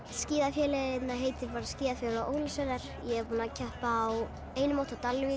skíða félagið heitir skíðafélag Ólafsfjarðar ég er búin að keppa á einu móti á